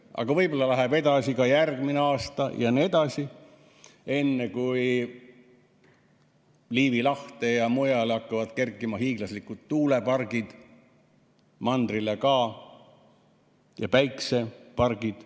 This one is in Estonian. Aga võib-olla läheb nii edasi ka järgmine aasta jne, enne kui Liivi lahte ja mujale hakkavad kerkima hiiglaslikud tuulepargid, mandrile ka, ja päikesepargid.